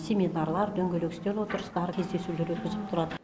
семинарлар дөңгелек үстел отырыстары кездесулер өткізіліп тұрады